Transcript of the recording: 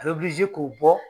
A bɛ k'u bɔ